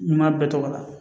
N m'a bɛɛ tɔgɔ la